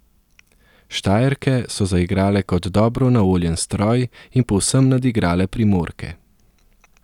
Štajerke so zaigrale kot dobro naoljen stroj in povsem nadigrale Primorke.